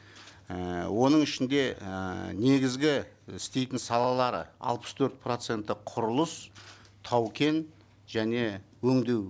ііі оның ішінде ііі негізгі істейтін салалары алпыс төрт проценті құрылыс тау кен және өңдеу